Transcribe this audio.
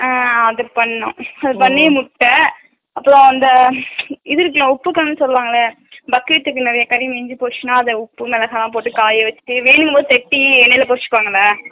ஆஹா அது பண்ணோ உம் அது பண்ணி முட்ட அப்பரோ அன்தைது இருக்குல உப்புகாணு சொல்லுவாங்களா bucket க்கு நெறைய தண்ணி நீந்துபோச்சுனா அது உப்பு மொளகா போட்டு காயவெச்சுட்டு வேணும்போது பேட்டி என்னனு குருச்சுகுவாங்கள